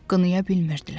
Qınaya bilmirdilər.